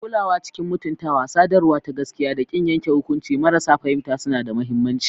Kulawa cikin mutuntawa, sadarwa ta gaskiya, da ƙin yanke hukunci marasa fahimta suna da mahimmanci.